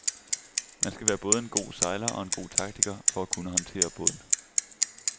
Man skal både være en god sejler og en god taktiker for at kunne håndtere båden.